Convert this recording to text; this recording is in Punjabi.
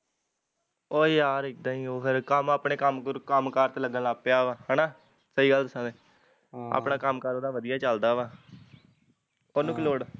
ਉਹ ਯਾਰ ਇਦਾਂ ਈ ਓਹ ਫਿਰ ਕੰਮ ਆਪਣੇ ਕੰਮ ਕਰ ਚ ਲੱਗਣ ਲੱਗ ਗਿਆ ਵਾਂ ਹੈਨਾ ਹਮ ਸਹੀ ਗੱਲ ਦੱਸਾਂ ਤੇ ਆਪਣਾ ਕੰਮ ਕਾਰ ਉਹਦਾ ਵਧੀਆ ਚੱਲਦਾ ਵਾਂ ਉਹਨੂੰ ਕੀ ਲੋੜ